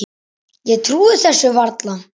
Ég trúi þessu varla.